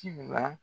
Ci la